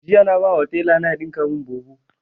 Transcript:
Jiya na ba wa taila na ya ɗinka mun bubu